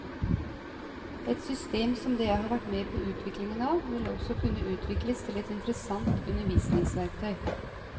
Et system som det jeg har vært med på utviklingen av, vil også kunne utvikles til et interessant undervisningsverktøy.